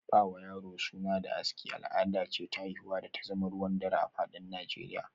Ba wa yaro suna da aski, al’ada ce ta haihuwa da ta zama ruwan dare a fadin Nijeriya